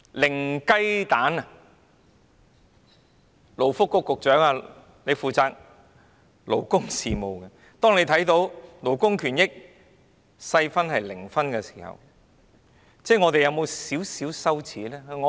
勞工及福利局局長負責勞工事務，當他看到勞工權益這細項的分數為零分時，有否感到一點羞耻？